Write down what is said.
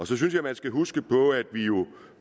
så synes jeg man skal huske på at vi jo